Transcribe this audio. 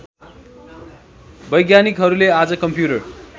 वैज्ञानिकहरूले आज कम्प्युटर